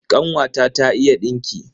Kanwata ta iya dinki.